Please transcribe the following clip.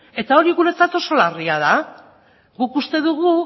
eta hori guretzat oso larria da guk uste dugu